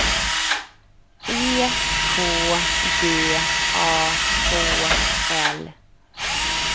E K D A H L